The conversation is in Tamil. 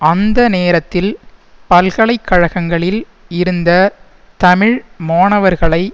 அந்த நேரத்தில் பல்கலை கழகங்ககளில் இருந்த தமிழ் மாணவர்களை